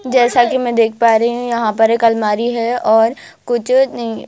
जैसा कि मैं देख पा रही हूं यहां पर एक अलमारी है और कुछ नहीं।